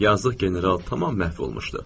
Yazıq general tamam məhv olmuşdu.